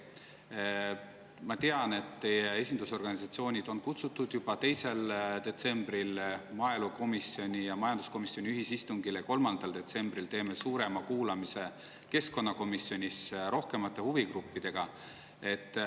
Ma tean, et teie esindusorganisatsioonid on kutsutud juba 2. detsembriks maaelukomisjoni ja majanduskomisjoni ühisistungile ning 3. detsembril teeme suurema kuulamise keskkonnakomisjonis rohkemate huvigruppidega.